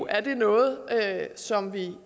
er noget som vi